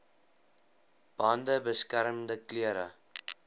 bande beskermende klere